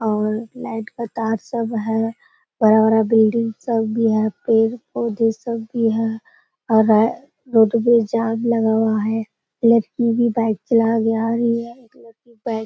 और लाइट का तार सब है। बड़ा-बड़ा बिल्डिंग सब भी है। पेड़-पौधे सब भी हैं। रोड पे जाम लगा हुआ है। लड़की भी बाइक चला के आ रही है। एक लड़की बाइक --